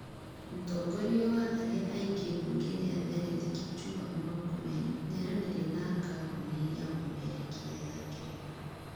Mũtongorĩa wa arĩa aĩngĩ mbũnge-ĩnĩ ya thenĩtĩ Kipchumba Mũrkomen nĩaranĩrĩa na kambũnĩ ya ũmemerekĩa ya ngeretha